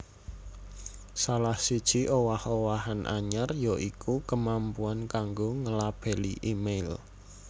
Salah siji owah owahan anyar ya iku kemampuan kanggo nglabeli email